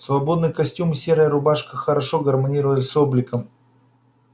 свободный костюм и серая рубашка хорошо гармонировали с обликом